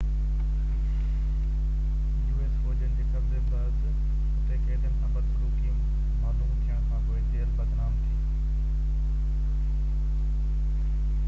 us فوجين جي قبضي بعد اتي قيدين سان بدسلوڪي معلوم ٿيڻ کانپوءِ جيل بدنام ٿي